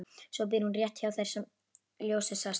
Svo býr hún rétt hjá þar sem ljósið sást.